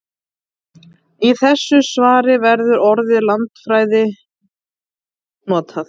Í þessu svari verður orðið landfræði notað.